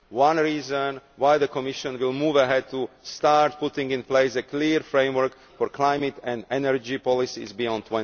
This is reason why the Commission will move ahead to start putting in place a clear framework for climate and energy policies beyond